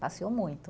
Passeou muito.